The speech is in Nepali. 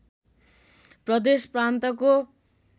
प्रदेश प्रान्तको